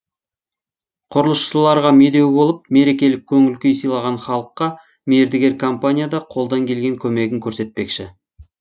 құрылысшыларға медеу болып мерекелік көңіл күй сыйлаған халыққа мердігер компания да қолдан келген көмегін көрсетпекші